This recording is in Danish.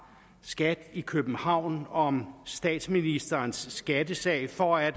skat i københavn om statsministerens skattesag for at